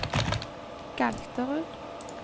Galterud